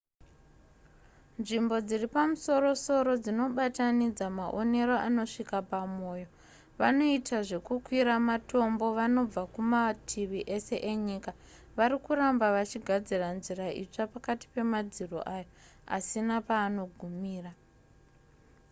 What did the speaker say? nzvimbo dziri pamusoro-soro dzinobatanidza maonero anosvika pamoyo vanoita zvekukwira matombo vanobva kumativi ese enyika vari kuramba vachigadzira nzira itsva pakati pemadziro ayo asina paanogumira